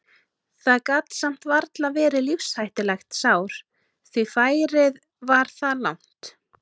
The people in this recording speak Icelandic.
Það gat samt varla verið lífshættulegt sár því færið var það langt.